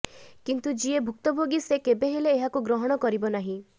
କିନ୍ତୁ ଯିଏ ଭୁକ୍ତଭୋଗୀ ସେ କେବେ ହେଲେ ଏହାକୁ ଗ୍ରହଣ କରିବ ନାହିଁ